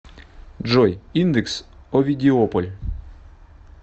джой индекс овидиополь